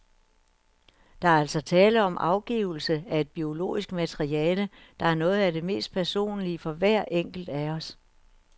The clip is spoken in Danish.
Der er altså tale om afgivelse af et biologisk materiale, der er noget af det mest personlige for hver enkelt af os.